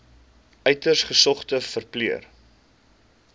uiters gesogde verpleër